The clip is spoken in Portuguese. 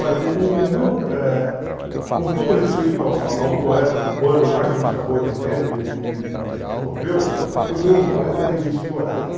Olha, o o o meu eh... Com todo o respeito ao ao ao poeta cubano lá, que me chamou de Hemingway me me me me comoveu, o meu poeta é Vinícius de Moraes.